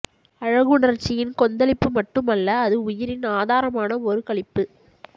அழகுணர்ச்சியின் கொந்தளிப்பு மட்டும் அல்ல அது உயிரின் ஆதாரமான ஒரு களிப்பு